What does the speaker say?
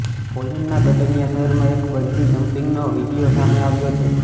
પોલેન્ડના Gdynia શહેરમાં એક bungee જમ્પિંગનો વીડિયો સામે આવ્યો છે